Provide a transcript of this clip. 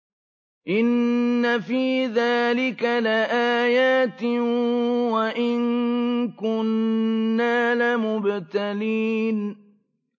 إِنَّ فِي ذَٰلِكَ لَآيَاتٍ وَإِن كُنَّا لَمُبْتَلِينَ